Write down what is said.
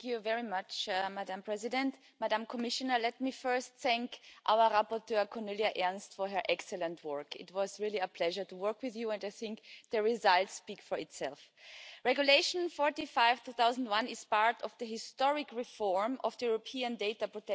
Je regrette, à cet égard, que la Commission ait tenté de s'accorder un régime d'exception et je félicite le rapport Ernst d'avoir su briser sa tentative de se mettre, en quelque sorte, au